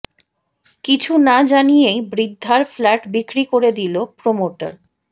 কিছু না জানিয়েই বৃদ্ধার ফ্ল্যাট বিক্রি করে দিল প্রমোটার